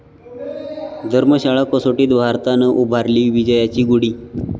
धर्मशाला कसोटीत भारतानं उभारली विजयाची गुढी